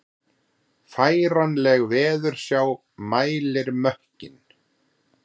Færanleg veðursjá mælir mökkinn